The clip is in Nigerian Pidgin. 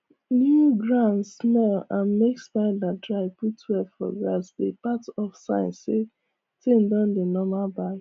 new ground smell and make spider dry put web for grass dey part of sign say things don dey normal back